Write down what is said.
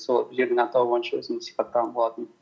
сол жердің атауы бойынша өзімді сипаттаған болатынмын